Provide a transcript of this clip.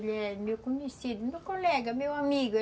Ele é meu conhecido, meu colega, meu amigo.